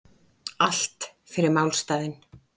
Allt fyrir málstaðinn